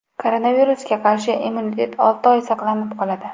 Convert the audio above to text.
Koronavirusga qarshi immunitet olti oy saqlanib qoladi.